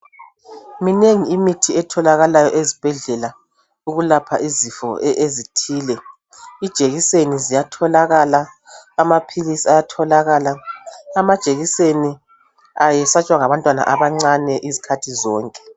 Minengi imithi etholakalayo ezibhedlela ukulapha izifo ezithile. Ijekiseni ziyatholakala, amaphilisi ayatholakala. Amajekiseni ayesatshwa ngabantwana abancane izikhathi zonke.